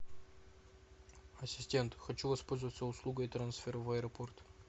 ассистент хочу воспользоваться услугой трансфер в аэропорт